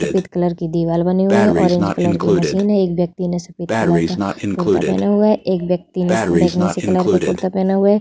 सफेद कलर की दीवाल बनी हुई है ऑरेंज कलर की मशीन है एक व्यक्ति ने सफेद कलर का कुर्ता पहना हुआ है एक व्यक्ति ने बैगनी सी कलर का कुर्ता पहना हुआ है ।